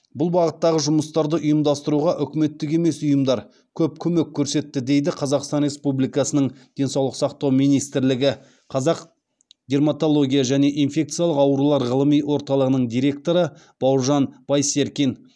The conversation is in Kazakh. бұл бағыттағы жұмыстарды ұйымдастыруға үкіметтік емес ұйымдар көп көмек көрсетті дейді қазақстан республикасының денсаулық сақтау министрлігі қазақ дерматология және инфекциялық аурулар ғылыми орталығының директоры бауыржан байсеркин